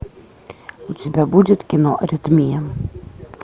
у тебя будет кино аритмия